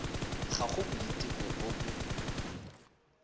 ga go boiteko bo bo